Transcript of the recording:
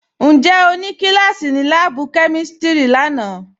Ǹjẹ́ o nì kílàsí ní làábù̀ kẹmístírì làánà